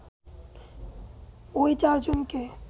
ওই চারজনকে